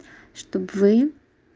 чтобы вы